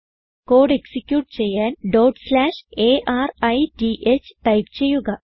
code execute ചെയ്യാൻ arith type ചെയ്യുക